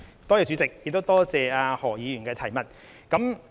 代理主席，多謝何議員的補充質詢。